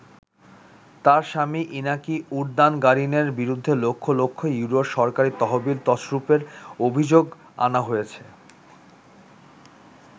তার স্বামী ইনাকি উরদানগারিনের বিরুদ্ধে লক্ষ লক্ষ ইউরোর সরকারি তহবিল তছরূপের অভিযোগ আনা হয়েছে।